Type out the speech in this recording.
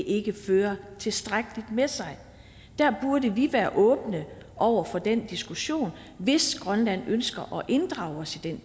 ikke fører tilstrækkeligt med sig der burde vi være åbne over for den diskussion hvis grønland ønsker at inddrage os i den